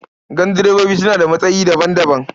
Gandirebobi suna da matsayi daban-daban.